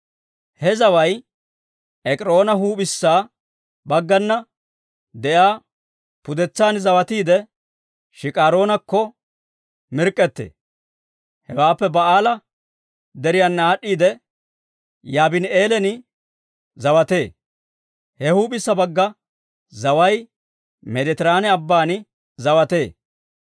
He zaway Ek'iroona huup'issa baggana de'iyaa pudetsan zawatiide, Shikaroonakko mirk'k'ettee; hewaappe Ba'aala Deriyaana aad'd'iidde, Yaabini'eelan zawatee. He huup'issa bagga zaway Meeditiraane Abban zawatee.